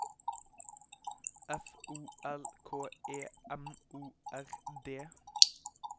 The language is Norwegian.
F O L K E M O R D